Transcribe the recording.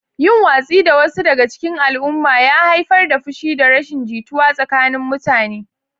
Yin watsi da wasu daga cikin al'umma ya haifar da fushi da rashin jituwa tsakanin mutane.